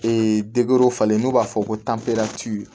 Ee falen n'o b'a fɔ ko